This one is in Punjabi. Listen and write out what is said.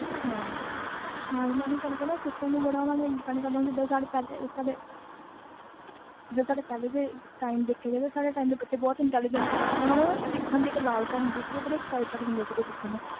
ਮੈਂ ਓਹੀ ਗੱਲ ਕਹੀ ਨਾ ਹੁਣ system ਤੇ ਕਰਤਾ ਪਹਲੇ ਦੇਖਿਆ ਜਾਵੇ ਤਾ ਬੱਚੇ ਬੜੇ intelligent ਸੀ ਓਹਨੂੰ ਨੂੰ ਸਿੱਖਣ ਦੀ ਚਾਹ ਹੁੰਦੀ ਵੀ ਕੁਛ